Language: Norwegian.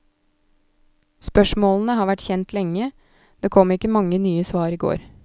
Spørsmålene har vært kjent lenge, det kom ikke mange nye svar i går.